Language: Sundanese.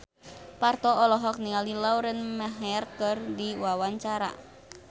Parto olohok ningali Lauren Maher keur diwawancara